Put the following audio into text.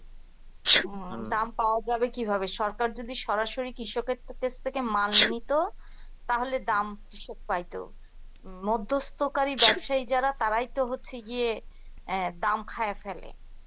দাম পাওয়া যাবে কিভাবে? সরকার যদি সরাসরি কৃষকদের কাছ থেকে মাল নিত তাহলে দাম কৃষক পাইতো মধ্যস্থকারী ব্যবসায়ী যারা তারা তারাই তো হচ্ছে গিয়ে অ্যাঁ দাম খাইয়া ফেলে